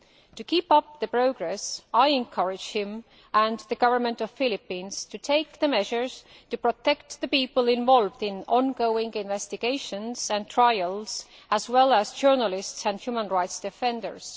To keep up the progress I encourage him and the government of the Philippines to take measures to protect the people involved in ongoing investigations and trials, as well as journalists and human rights defenders.